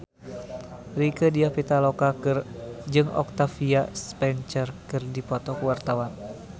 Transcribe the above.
Rieke Diah Pitaloka jeung Octavia Spencer keur dipoto ku wartawan